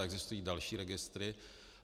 A existují další registry.